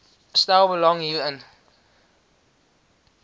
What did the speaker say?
stel belang hierin